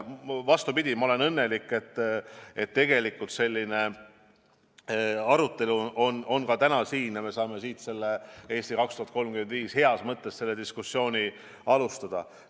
Aga ma olen õnnelik, et tegelikult selline arutelu täna siin on ja me saame selle "Eesti 2035" üle heas mõttes diskussiooni alustada.